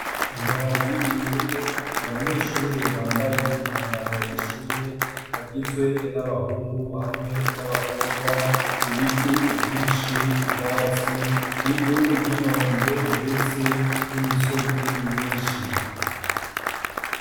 Amababi yumwe abanyeshure bambaye umwambaro w'ishure bagizwe n'abahungu hamwe n'abakobwa ibiti vyishi ubwatsi ivu ry'inombe ndetse n'imisozi myishi